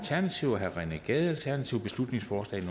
rené gade beslutningsforslag